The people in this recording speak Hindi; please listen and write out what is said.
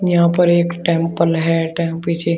यहां पर एक टेंपल है